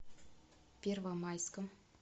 первомайском